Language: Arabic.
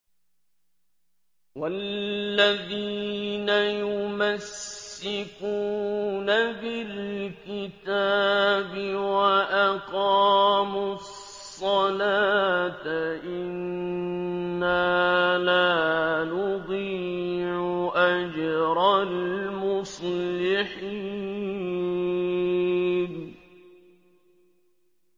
وَالَّذِينَ يُمَسِّكُونَ بِالْكِتَابِ وَأَقَامُوا الصَّلَاةَ إِنَّا لَا نُضِيعُ أَجْرَ الْمُصْلِحِينَ